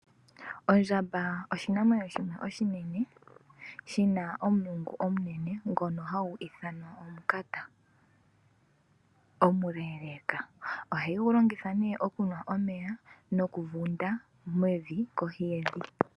Ondjamba oshinamwenyo shimwe oshinene shina omulungu omunene . Ngono hagu ithanwa omunkati omuleleeka . Ohayi gu longitha nee okunwa omeya noku funda mevi kohi yevi.